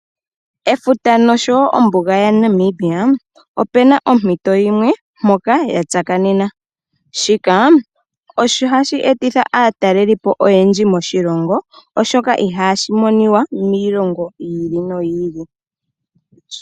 Efuta noshowo ombuga ya Namibia opena ompito yimwe mpoka ya tsakaneke shika osho hashi etitha aatalelipo oyendji moshilongo oshoka ihashi monika miilongo yi ili noyi ili.